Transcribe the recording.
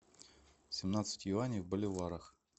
семнадцать юаней в боливарах